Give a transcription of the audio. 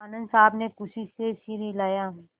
आनन्द साहब ने खुशी से सिर हिलाया